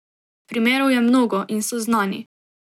Primerov je mnogo in so znani.